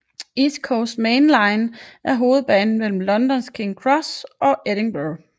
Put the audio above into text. East Coast Main Line er hovedbanen mellem London Kings Cross og Edinburgh